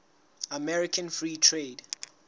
american free trade